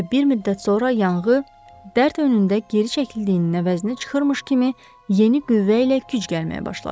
Və bir müddət sonra yanğı, dərd önündə geri çəkildiyinin əvəzinə çıxırmış kimi yeni qüvvə ilə güc gəlməyə başladı.